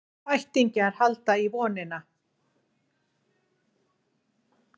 Ættingjar halda í vonina